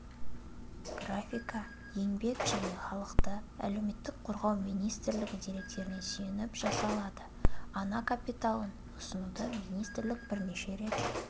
графика еңбек және халықты әлеуметтік қорғау министрлігі деректеріне сүйеніп жасалды ана капиталын ұсынуды министрлік бірнеше рет